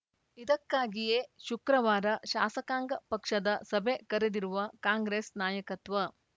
ಇದಕ್ಕಾಗಿಯೇ ಶುಕ್ರವಾರ ಶಾಸಕಾಂಗ ಪಕ್ಷದ ಸಭೆ ಕರೆದಿರುವ ಕಾಂಗ್ರೆಸ್‌ ನಾಯಕತ್ವ